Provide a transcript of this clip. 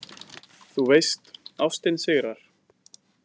Þú veist: Ástin sigrar.